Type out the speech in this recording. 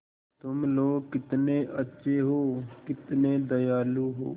तुम लोग कितने अच्छे हो कितने दयालु हो